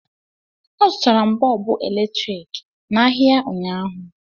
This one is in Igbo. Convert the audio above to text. Azụtara m Bọọbụ eletrik n'ahịa ụnyaahụ